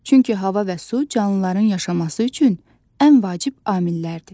Çünki hava və su canlıların yaşaması üçün ən vacib amillərdir.